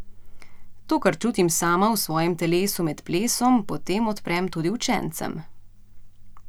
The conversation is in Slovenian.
To, kar čutim sama, v svojem telesu med plesom, potem odprem tudi učencem.